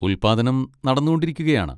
ഉൽപാദനം നടന്നുകൊണ്ടിരിക്കുകയാണ്.